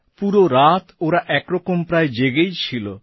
পুরো রাত ওরা একরকম প্রায় জেগেই ছিল